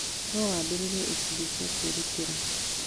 No wambĩrĩrie ikundi cia kwĩrutĩra.